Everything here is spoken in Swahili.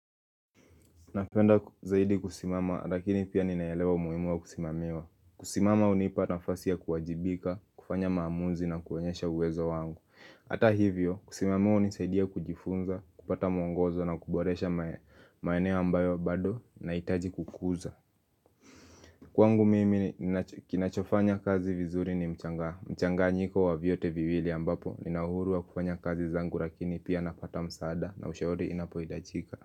Napenda zaidi kusimama lakini pia ninaelewa umuhimu kusimamiwa kusimama hunipa nafasi kuwajibika, kufanya maamuzi na kuonyesha uwezo wangu hata hivyo kusimamiwa hunisaidia kujifunza, kupata mwongozo na kuboresha maeneo ambayo bado nahitaji kukuza Kwangu mimi kinachofanya kazi vizuri ni mchanganyiko wa vyote viwili ambapo nina uhuru wa kufanya kazi zangu lakini pia napata msaada na ushauri unapohitajika.